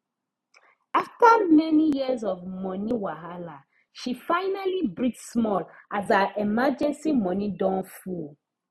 after many years of money wahala she finally breathe small as her emergency money don full